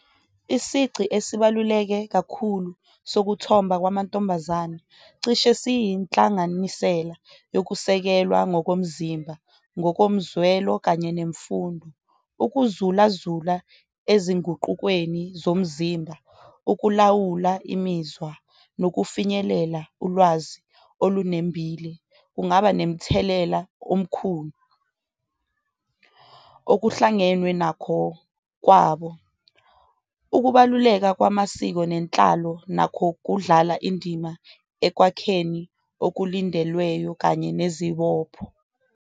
Isici esibaluleke kakhulu sokuthomba kwamantombazane cishe siyinhlanganisela yokusekelwa ngokomzimba, ngokomzwelo kanye nemfundo. Ukuzulazula ezinguqukweni zomzimba, ukulawula imizwa nokufinyelela ulwazi olunembile kungaba nemthelela omkhulu. Okuhlangenwe nakho kwabo, ukubaluleka kwamasiko nenhlalo nakho kudlala indima ekwakheni okulindelweyo kanye nezibopho.